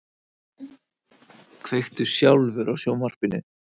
Kveiktu sjálfur á sjónvarpinu.